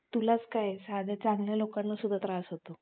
तुलाच काय साध्या चांगल्या लोकांना पण त्रास होतो